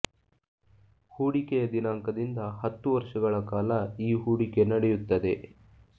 ಹೂಡಿಕೆಯ ದಿನಾಂಕದಿಂದ ಹತ್ತು ವರ್ಷಗಳ ಕಾಲ ಈ ಹೂಡಿಕೆ ನಡೆಯುತ್ತದೆ